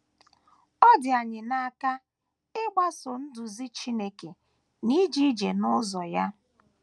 Ọ dị anyị n’aka ịgbaso nduzi Chineke na ije ije n’ụzọ ya.